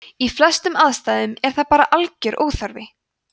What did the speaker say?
í flestum aðstæðum er það bara algjör óþarfi